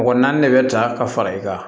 Mɔgɔ naani de bɛ ta ka fara i kan